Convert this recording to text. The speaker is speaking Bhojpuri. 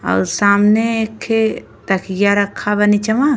और सामने एखे तकिया रखा बा नीचेवा।